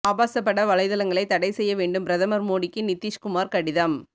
ஆபாசப்பட வலைதளங்களை தடை செய்ய வேண்டும் பிரதமர் மோடிக்கு நிதீஷ்குமார் கடிதம்